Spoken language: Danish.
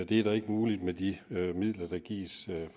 det er ikke muligt med de midler der gives